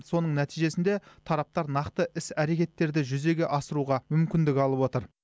соның нәтижесінде тараптар нақты іс әрекеттерді жүзеге асыруға мүмкіндік алып отыр